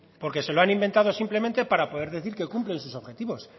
porque se lo han inventado simplemente para poder decir que cumplen sus objetivos